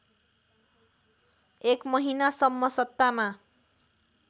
एक महिनासम्म सत्तामा